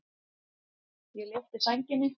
Ég lyfti sænginni.